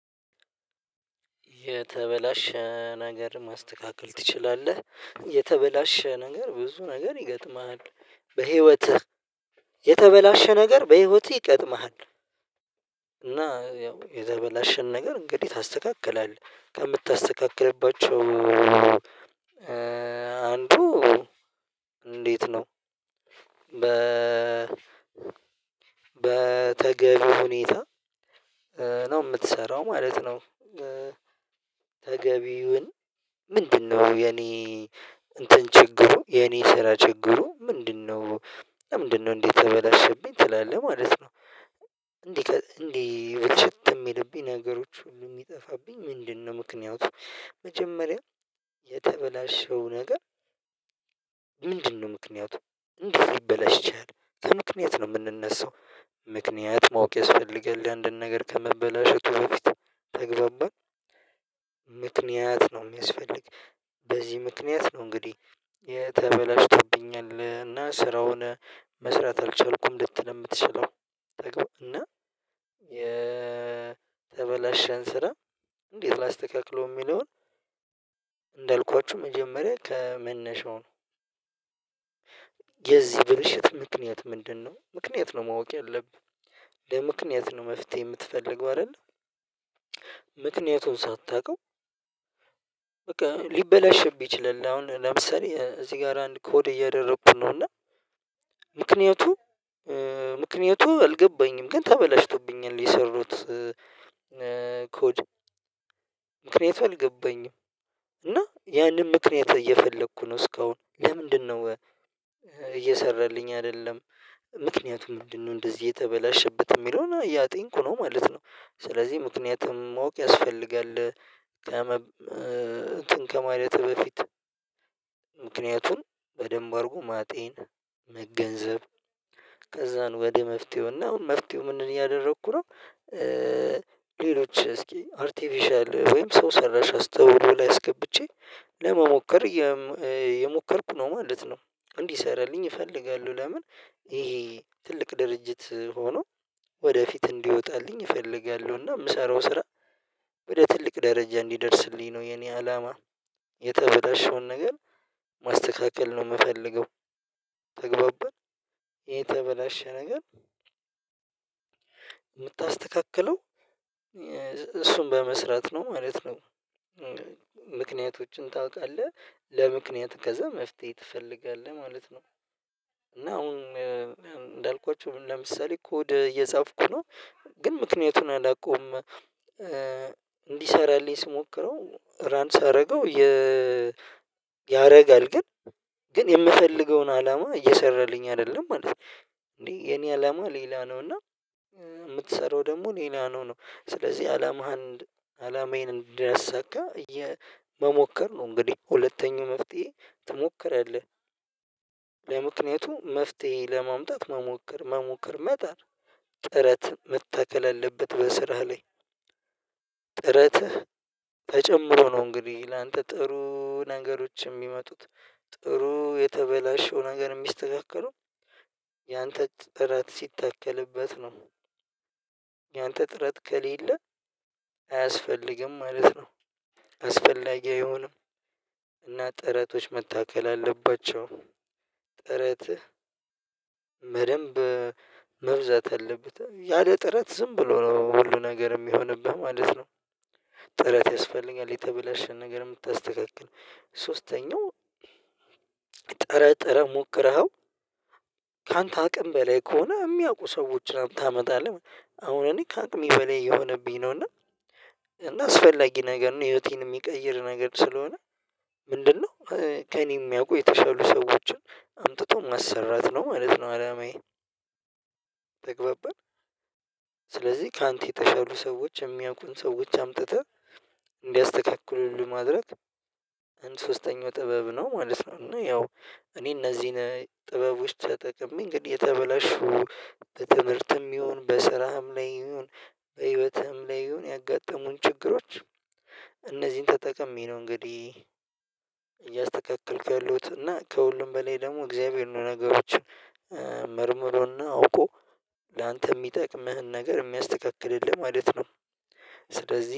የተበላሸ ነገር ማስተካከል ትችላለህ? የተበላሸ ነገር ብዙ ነገር ይገጥማል በህይወትህ የተበላሸ ነገር በህይወትህ ይገጥማል? ያው የተበላሸን ነገር እንግዲህ ታስተካክላለህ ከምታስተካክልባቸው አንዱ እንዴት ነው በ በተገቢው ሁኔታ ነው የምትሰራው ማለት ነው። ተገቢውን ምንድነው የኔ እንትን ችግሩ የኔ ስራ ችግሩ ምንድነው? ለምንድነው እንዴት ተበላሸብኝ ትላለህ ማለት ነው። እንዲህ እንዲህ ብቸትም የለብኝ ነገሮች ሁሉ የሚጠፋብኝ ምንድነው? ምክንያቱም መጀመሪያ የተበላሸው ነገር ምንድነው ምክንያቱ እንዲህ ይበላሽቻል ከምክንያት ነው የምንነሳው። ምክንያት ማወቅ ያስፈልገን ለአንድን ነገር ከመበላሸው ከበፊት ተግባባ ምክንያት ነው የሚያስፈልግ። በዚህ ምክንያት ነው እንግዲህ የተበላሽቶብኛል እና ስራውን መስራት አልቻልኩም። ልትል የምትችለው ተግባር እና የተበላሸን ስራ እንዴት ላስተካክሎ የሚለውን እንዳልኳችሁ መጀመሪያ ከመነሻው ነው። የዚህ ብልሽት ምክንያት ምንድነው? ምክንያት ነው ማወቅ ያለብህ ለምክንያት ነው መፍትሄ የምትፈልገው አይደለ? ምክንያቱን ሳታውቀው በቃ ሊበላሽብህ ይችላል። አሁን ለምሳሌ እዚህ ጋር አንድ ኮድ እያደረኩኝ ነው። እና ምክንያቱ ምክንያቱ አልገባኝም ግን ተበላሽቶብኛል የሰሩት ኮድ ምክንያቱም አልገባኝም። እና ያንን ምክንያት እየፈለኩ ነው እስካሁን ለምንድነው? እየሰራልኝ አይደለም። ምክንያቱም ምንድነው እንደዚህ የተበላሸበት የሚለውን ያጠንኩ ነው ማለት ነው። ስለዚህ ምክንያቱም ማወቅ ያስፈልጋል። ከማየትህ በፊት ምክንያቱን በደንብ አድርጎ ማጤን መገንዘብ ከዛን ወደ መፍትሄው እና መፍትሄው ምንድነው ያደረኩት ነው። ሌሎች እስኪ አርቲፊሻል ወይም ሰው ሰራሽ አስተውሎ ላይ አስገብቼ ለመሞከር የሞከርኩ ነው። ማለት ነው። እንዲሰራልኝ ይፈልጋሉ ለምን? ይሄ ትልቅ ድርጅት ሆኖ ወደፊት እንዲወጣልኝ እፈልጋለሁና የምሰራው ስራ ወደ ትልቅ ደረጃ እንዲደርስልኝ ነው። የኔ አላማ የተበላሸውን ነገር ማስተካከል ነው የምፈልገው። ተግባባን ይሄ ተበላሸ ነገር የምታስተካክለው እሱን በመስራት ነው ማለት ነው። ምክንያቶችን ታውቃለህ ለምክንያት ከዛ መፍትሄ ትፈልጋለህ ማለት ነው። እና አሁን እንዳልኳችሁ ለምሳሌ እ ኮድ እየጻፍኩ ነው። ግን ምክንያቱን አላውቀውም። እንዲሰራልኝ ስሞክረው ራን ሳደርገው ያደርጋል ግን ግን የምፈልገውን አላማ እየሰራልኝ አይደለም ማለት ነው። እንዴ የኔ አላማ ሌላ ነው። እና የምትሰራው ደግሞ ሌላ ነው ነው። ስለዚህ አላማህን አላማዬን እንዲሰካ እየ መሞከር ነው። እንግዲህ ሁለተኛው መፍትሄ ትሞክረለህ። ለምክንያቱም መፍትሄ ለማምጣት መሞከር መሞከር መጣ ጥረት መተከል አለበት በስራህ ላይ። ጥረትህ ተጨምሮ ነው እንግዲህ ላንተ ጥሩ ነገሮችን የሚመጡት ጥሩ የተበላሸው ነገር የሚስተካከለው ያንተ ጥረት ሲታከልበት ነው። ያንተ ጥረት ከሌለ አያስፈልግም ማለት ነው። አስፈላጊ አይሆንም። እና ጥረቶች መታከል አለባቸው። ጥረት መደንብ መብዛት አለበት ያለ ጥረት ዝም ብሎ ነው ሁሉ ነገር የሚሆንብህ ማለት ነው። ጥረት ያስፈልጋል የተበላሸን ነገር የምታስተካክል ሶስተኛው ጥረ ጥረ ሞክረኸው ካንተ አቅም በላይ ከሆነ የሚያውቁ ሰዎች ላይ ታመጣለህ። አሁን እኔ ካቅም በላይ የሆነብኝ ነው። እና አስፈላጊ ነገር ነው ህይወቴን የሚቀይር ነገር ስለሆነ ምንድነው ከእኔ የሚያውቁ የተሻሉ ሰዎችን አምጥቶ ማሰራት ነው ማለት ነው። አላማዬ ተግባብን። ስለዚህ ካንተ የተሻሉ ሰዎች የሚያውቁን ሰዎች አምጥተህ እንዲያስተካክልልህ ማድረግ አንድ ሶስተኛው ጥበብ ነው ማለት ነው። እና ያው እኔ እነዚህን ጥበቦች ተጠቅሜ እንግዲህ የተበላሹ በትምህርትም ይሁን በስራም ላይ ይሁን በህይወትህም ላይ ይሁን ያጋጠሙን ችግሮች። እነዚህን ተጠቅሜ ነው እንግዲህ እያስተካክልክ ያሉት እና ከሁሉም በሌላ ደግሞ እግዚአብሔር የሆኑ ነገሮችን መርምሮና አውቆ ላንተ የሚጠቅምህን ነገር የሚያስተካክልህ ለማለት ነው። ስለዚህ